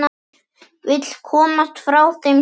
Vill komast frá þeim stóra.